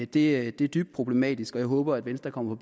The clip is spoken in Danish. det er dybt problematisk og jeg håber at venstre kommer